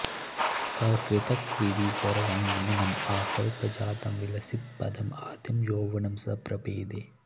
अकृतकविधि सर्वाङ्गीणं आकल्पजातं विलसितपदं आद्यं यौवनं स प्रपेदे